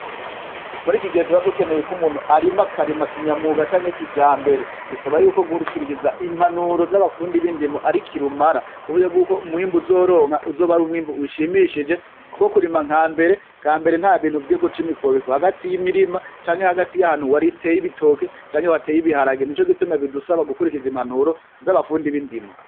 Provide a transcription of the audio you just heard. Muri iki gihe tubadukeneye ko'umuntu arima akarima kinyamuga canke kija mbere bisaba yuko guhurikiririza impanuro z'abafundi bindimo ari ki lumara kuburyo bw'uko umwimbu uzoronka uzoba ari umwimbu ushimishije, kuko kurima nka mbere ka mbere nta bintu vyego c'imikobiko hagati y'imirima canke hagati y'ahantu wari teye ibitoke canke wateye ibiharagena ico gituma bidusaba gukurikiza impanuro z'abapfunda ib'indimo.